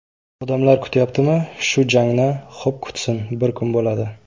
Odamlar kutyaptimi shu jangni, xo‘p kutsin, bir kuni bo‘ladi.